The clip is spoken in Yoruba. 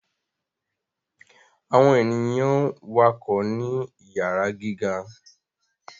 Awọn ènìyàn wakọ ni iyara gíga